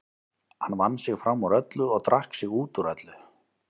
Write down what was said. Hann vann sig fram úr öllu og drakk sig út úr öllu.